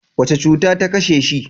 Wace cuta ta kashe shi?